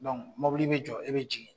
mobili bɛ jɔ i bɛ jigin